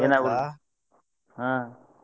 ಹಾ.